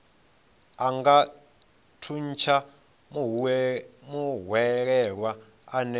a nga thuntsha muhwelelwa ane